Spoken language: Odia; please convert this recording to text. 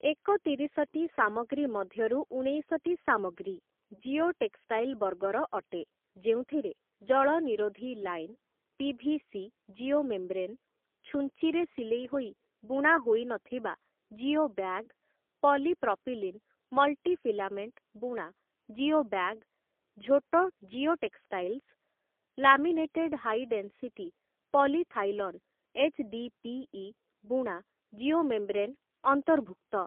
ଏକତିରିଶଟି ସାମଗ୍ରୀ ମଧ୍ୟରୁ ଉଣେଇଶଟି ସାମଗ୍ରୀ ଜିଓ ଟେକ୍‌ଷ୍ଟାଇଲ୍ ବର୍ଗର ଅଟେ, ଯେଉଁଥିରେ ଜଳ ନିରୋଧୀ ଲାଇନ୍, ପି.ଭି.ସି. ଜିଓମେମ୍ବ୍ରେନ୍, ଛୁଞ୍ଚିରେ ସିଲେଇ ହୋଇ ବୁଣା ହୋଇନଥିବା ଜିଓବ୍ୟାଗ୍, ପଲିପ୍ରପିଲିନ୍ ମଲ୍ଟିଫିଲାମେଣ୍ଟ ବୁଣା ଜିଓବ୍ୟାଗ୍, ଝୋଟ geotextiles, laminated high density polyethylene HDPE. ବୁଣା ଜିଓମେମ୍ବ୍ରେନ୍ ଅନ୍ତର୍ଭୁକ୍ତ ।